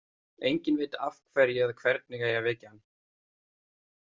Enginn veit af hverju eða hvernig eigi að vekja hann.